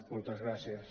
moltes gràcies